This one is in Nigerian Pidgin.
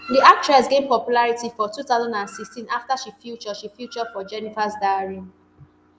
di actress gain popularity for two thousand and sixteen afta she feature she feature for jenifas diary